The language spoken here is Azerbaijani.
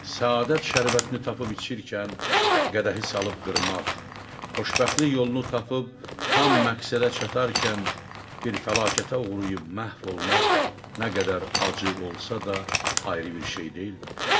Səadət şərbətini tapıb içirkən qədəhi salıb qırmaq, xoşbəxtlik yolunu tapıb tam məqsədə çatarkən bir fəlakətə uğrayıb məhv olmaq nə qədər acı olsa da, ayrı bir şey deyilmidir?